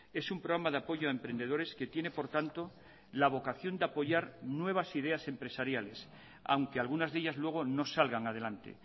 es un programa de apoyo a emprendedores que tiene por tanto la vocación de apoyar nuevas ideas empresariales aunque algunas de ellas luego no salgan adelante